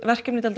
mjög